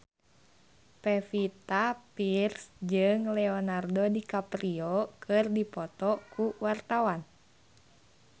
Pevita Pearce jeung Leonardo DiCaprio keur dipoto ku wartawan